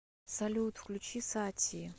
салют включи сати